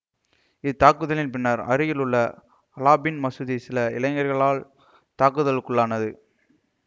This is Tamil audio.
இத்தாக்குதலின் பின்னர் அருகில் உள்ள அலாபின் மசூதி சில இளைஞர்களினால் தாக்குதலுக்குள்ளானது